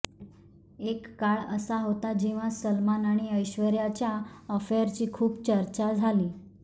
एक काळ असा होता जेव्हा सलमान आणि ऐश्वर्याच्या अफेअरची खूप चर्चा झाली